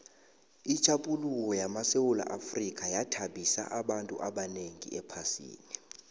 itjhaphuluko lamasewula afrika yathabisa abantu abanengi ephasini